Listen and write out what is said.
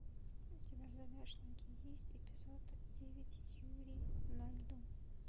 у тебя в загашнике есть эпизод девять юрий на льду